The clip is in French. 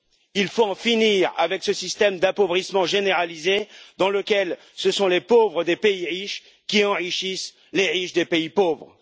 Il faut en finir avec ce système d'appauvrissement généralisé dans lequel ce sont les pauvres des pays riches qui enrichissent les riches des pays pauvres.